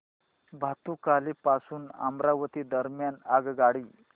भातुकली पासून अमरावती दरम्यान आगगाडी